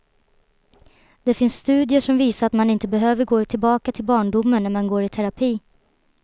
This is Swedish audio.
Det finns studier som visar att man inte behöver gå tillbaka till barndomen när man går i terapi.